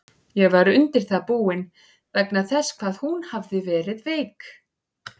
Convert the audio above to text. Ég var undir það búinn, vegna þess hvað hún hafði verið veik.